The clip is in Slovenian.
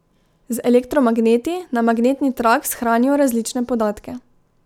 Z elektromagneti na magnetni trak shranijo različne podatke.